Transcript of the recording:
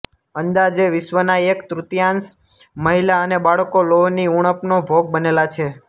અંદાજે વિશ્વના એક તૃતિયાંશ મહિલા અને બાળકો લોહની ઊણપનો ભોગ બનેલા છે